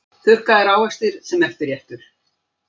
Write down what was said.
Þurrkaðir ávextir sem eftirréttur